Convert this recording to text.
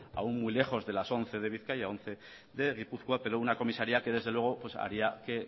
aún muy lejos de las once de bizkaia once de gipuzkoa pero una comisaría que desde luego haría que